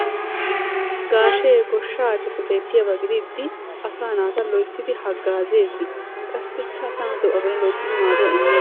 Gaashee ayfiyappe beetiyaba gidiidi asaa naata loyttidi haggaazzees qassi asaa naatu de'uwa bollan loyttidi maaduwa ime..